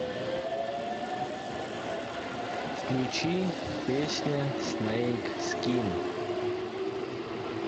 включи песня снэйк скин